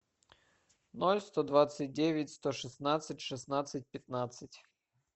ноль сто двадцать девять сто шестнадцать шестнадцать пятнадцать